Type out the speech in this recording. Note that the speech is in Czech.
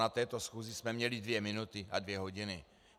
Na této schůzi jsme měli dvě minuty a dvě hodiny.